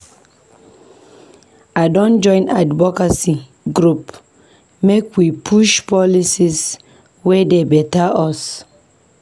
We don join advocacy group make we push for policies wey dey beta us.